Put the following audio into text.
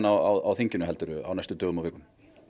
á þinginu á næstu dögum og vikum